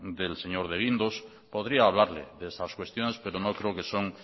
del señor de guindos podría hablarle de estas cuestiones pero no creo que son